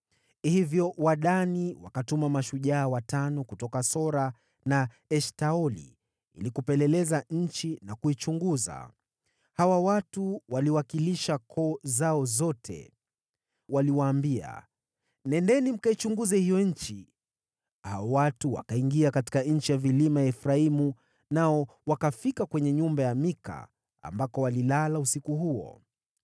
Hivyo Wadani wakatuma mashujaa watano kutoka Sora na Eshtaoli ili kupeleleza nchi na kuichunguza. Hawa watu waliwakilisha koo zao zote. Waliwaambia, “Nendeni mkaichunguze hiyo nchi.” Watu hao wakaingia katika nchi ya vilima ya Efraimu, nao wakafika nyumba ya Mika, ambako walilala usiku huo.